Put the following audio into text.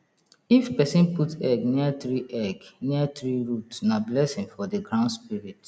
if person put egg near tree egg near tree root na blessing for the ground spirit